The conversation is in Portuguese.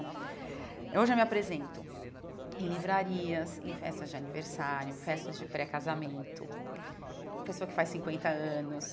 Hoje eu me apresento em livrarias, em festas de aniversário, festas de pré-casamento, pessoa que faz cinquenta anos.